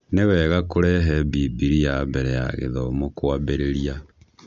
Nĩ wega kũrehe Bibilia mbere ya gĩthomo kwambĩrĩria.